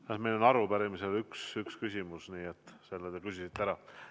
Kahjuks saab arupärimise ajal esitada ühe küsimuse, selle te küsisite ära.